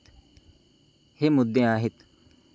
हे मुद्दे आहेत.